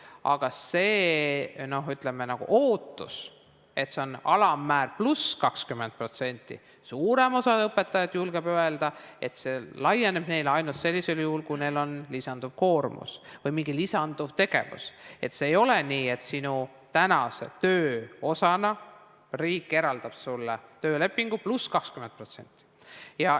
Aga see ootus, et see on alammäär pluss 20% – suurem osa õpetajaid julgeb öelda, et see laieneb neile ainult sellisel juhul, kui neil on lisakoormus või mingi lisategevus, see ei ole nii, et sinu tänase töö osana riik eraldab sulle töölepingu järgi pluss 20%.